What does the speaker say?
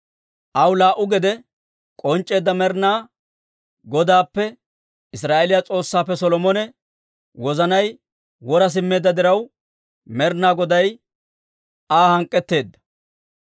Aw laa"u gede k'onc'c'eedda Med'inaa Godaappe Israa'eeliyaa S'oossaappe Solomone wozanay wora simmeedda diraw, Med'inaa Goday Aa hank'k'etteedda.